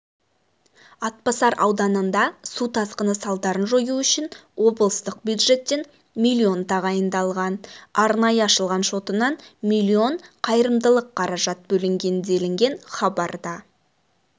атбасар ауданында су тасқыны салдарын жою үшін облыстық бюджеттен миллион тағайындалған арнайы ашылған шотынан миллион қайырымдылық қаражат бөлінген делінген хабарда